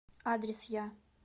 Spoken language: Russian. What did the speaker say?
адрес я